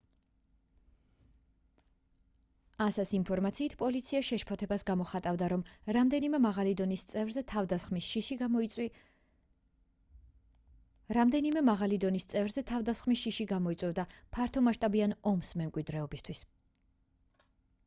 ansa-ს ინფორმაციით პოლიცია შეშფოთებას გამოხატავდა რომ რამდენიმე მაღალი დონის წევრზე თავდასხმის შიში გამოიწვევდა ფართომასშტაბიან ომს მემკვიდრეობისთვის